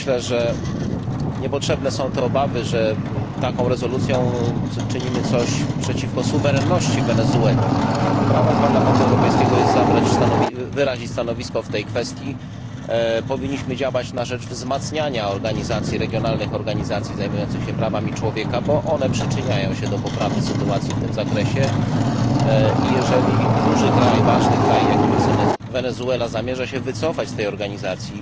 Myślę, że niepotrzebne są obawy, że taką rezolucją czynimy coś przeciwko suwerenności Wenezueli. Prawem Parlamentu Europejskiego jest wyrazić stanowisko w tej kwestii. Powinniśmy działać na rzecz wzmacniania regionalnych organizacji zajmujących się prawami człowieka, bo one przyczyniają się do poprawy sytuacji w tym zakresie. Jeżeli duży, ważny kraj, jakim jest Wenezuela, zamierza się wycofać z tej organizacji,